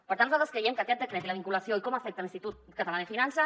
per tant nosaltres creiem que aquest decret i la vinculació i com afecta l’institut català de finances